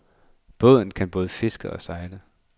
Båden kan både fiske og sejle.